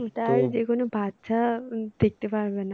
যেকোনো বাচ্চা দেখতে পারবে না।